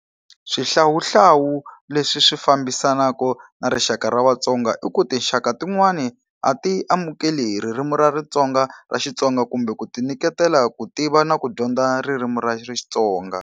Swihlawuhlawu leswi swi fambisanaka na rixaka ra vaTsonga i ku tinxaka tin'wani a ti amukeli hi ririmi ra ra xitsonga kumbe ku ti nyiketela ku tiva na ku dyondza ririmi ra xitsonga.